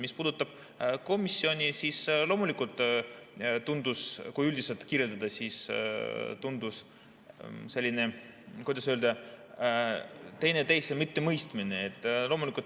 Mis puudutab komisjoni, siis tundus, kui üldiselt kirjeldada, et oli selline, kuidas öelda, teineteise mittemõistmine.